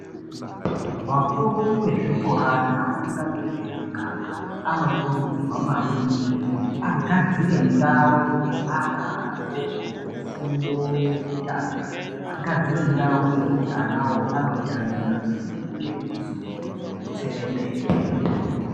Vakuru vezvikora nevatungamiriri vemuganga anokurudzirwa maningi kuti agadzire ndau yeana adoko efundo yekutanga agadzire ndauyo yekuti ana anotambira paine midziwe nemitserendende.